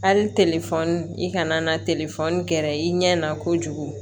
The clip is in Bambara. Hali i kana na kɛra i ɲɛ na kojugu